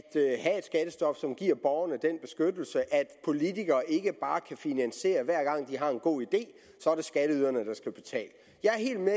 skattestop som giver borgerne at politikere ikke bare kan finansiere at hver gang de har en god idé er det skatteyderne der skal betale jeg er helt med